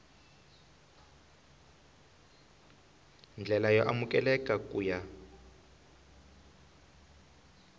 ndlela yo amukeleka ku ya